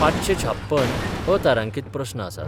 पांचशे छाप्पन अतारांकीत प्रस्न आसात.